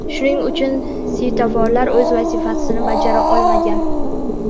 Shuning uchun svetoforlar o‘z vazifasini bajara olmagan.